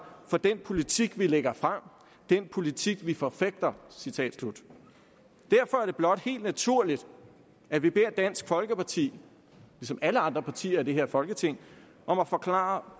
for den politik vi lægger frem den politik vi forfægter derfor er det blot helt naturligt at vi beder dansk folkeparti ligesom alle andre partier i det her folketing om at forklare